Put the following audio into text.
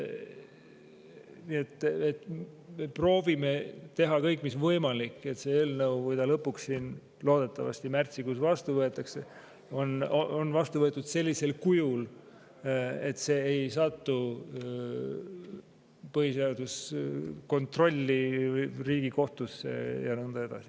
Nii et proovime teha kõik mis võimalik, et see eelnõu, kui ta loodetavasti märtsikuus lõpuks vastu võetakse, on vastu võetud sellisel kujul, et see ei sattu põhiseaduslikkuse kontrolli Riigikohtusse ja nõnda edasi.